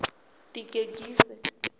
ḽigegise